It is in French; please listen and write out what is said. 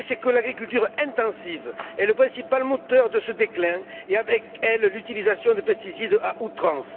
L'agriculture intensive est le principal moteur de ce déclin et, avec elle, l'utilisation de pesticides à outrance.